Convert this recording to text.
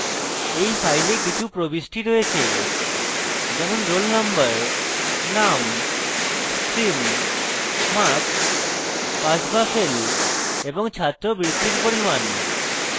in file কিছু প্রবিষ্টি রয়েছে যেমন roll number name stream marks pass বা fail এবং ছাত্রবৃত্তির পরিমাণ